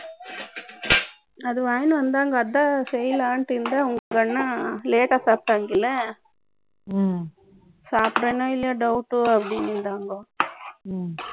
அதை வாங்கிட்டு வந்தாங்க, அதான் செய்யலாண்ட்டு இருந்தேன். அவங்க அண்ணா, late ஆ சாப்பிட்டாங்க இல்லை ம்ம். சாப்பிடறேனா இல்லையா Doubt ஓ, அப்படின்றாங்க. ம்ம்